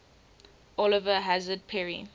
oliver hazard perry